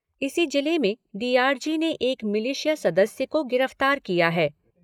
इसी जिले में डीआरजी ने एक मिलिशिया सदस्य को गिरफ्तार किया है।